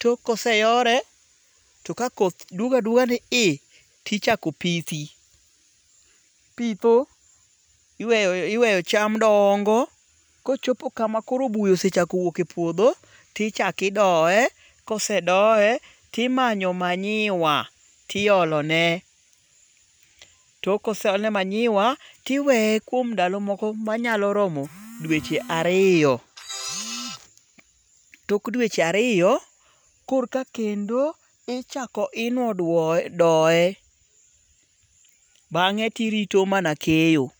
Tok koseyore, to ka koth duogo aguoga ni i, tichako pithi. Ipitho, iweyo cham dongo. Kochopo kama koro buya osechako wuok e puodho. Ti chak idoye. Kosedoye timanyo manyiwa tiolo ne. Tok koseolne manyiwa tiweye kuom ndalomoko manyalo romo dweche ariyo. Tok dweche ariyo kor ka kendo ichako inuo doye. Bang'e tirito mana keyo.